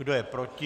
Kdo je proti?